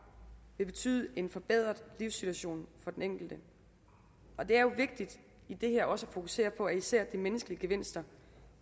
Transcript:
vil betyde en forbedret livssituation for den enkelte og det er jo vigtigt i det her også at fokusere på at især de menneskelige gevinster